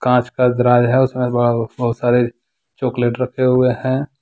कांच का दराज है उसमें बहुत सारे चॉकलेट रखे हुए हैं।